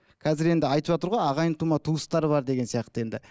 қазір енді айтыватыр ғой ағайын тума туыстар бар деген сияқты енді